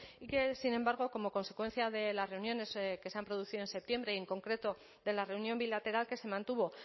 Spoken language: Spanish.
y que sin embargo como consecuencia de las reuniones que se han producido en septiembre y en concreto de la reunión bilateral que se mantuvo